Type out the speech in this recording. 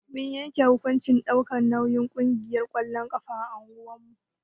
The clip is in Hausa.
Mun yanke hukuncin ɗaukar nauyin ƙungiyar ƙwallon ƙafa a unguwar mu.